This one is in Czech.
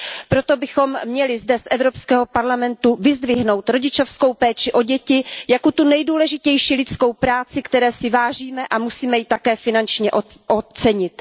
Proto bychom měli zde z EP vyzdvihnout rodičovskou péči o děti jako tu nejdůležitější lidskou práci, které si vážíme, a musíme ji také finančně ocenit.